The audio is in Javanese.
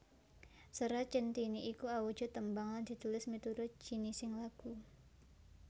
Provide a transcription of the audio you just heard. Serat Centhini iku awujud tembang lan ditulis miturut jinising lagu